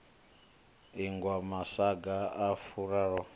ingwa masaga a furaru mahumi